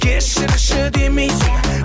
кешірші демейсің